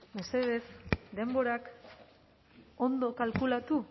mesedez denborak ondo kalkulatu